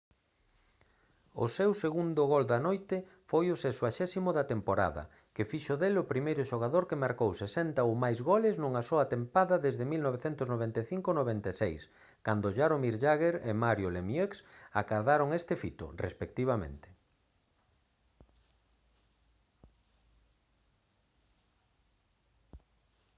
o seu segundo gol da noite foi o 60.º da tempada que fixo del o primeiro xogador que marcou 60 ou máis goles nunha soa tempada desde 1995-96 cando jaromir jagr e mario lemieux acadaron ese fito respectivamente